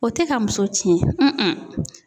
O tɛ ka muso tiɲɛ